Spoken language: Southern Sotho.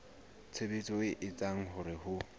tshebetso e etsang hore ho